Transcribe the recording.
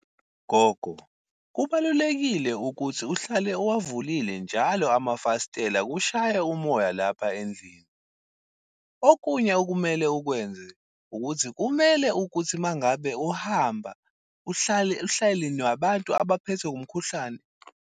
Gogo, kubalulekile ukuthi uhlale uwavulile njalo amafasitela kushaye umoya lapha endlini. Okunye okumele ukwenze ukuthi kumele ukuthi uma ngabe uhamba uhlale nabantu abaphethwe umkhuhlane.